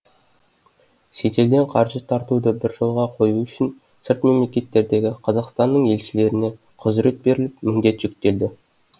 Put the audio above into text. шетелден қаржы тартуды бір жолға қою үшін сырт мемлекеттердегі қазақстанның елшілеріне құзырет беріліп міндет жүктелді